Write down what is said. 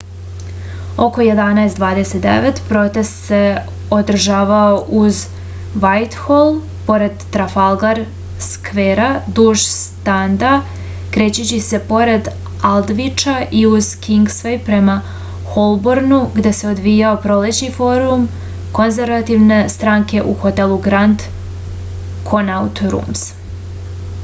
oko 11:29 protest se održavao uz vajthol pored trafalgar skvera duž stranda krećući se pored aldviča i uz kingsvej prema holbornu gde se odvijao prolećni forum konzervativne stranke u hotelu grand konaut rums